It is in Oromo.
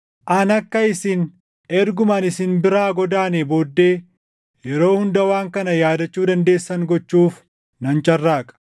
Ani akka isin erguma ani isin biraa godaanee booddee yeroo hunda waan kana yaadachuu dandeessan gochuuf nan carraaqa.